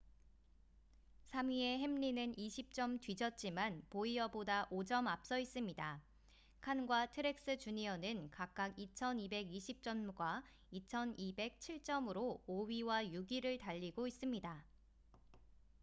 3위의 햄린은 20점 뒤졌지만 보이어보다 5점 앞서 있습니다 칸과 트렉스 주니어는 각각 2,220점과 2,207점으로 5위와 6위를 달리고 있습니다